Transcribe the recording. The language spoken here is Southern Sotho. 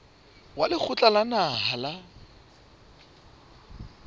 wa lekgotla la naha la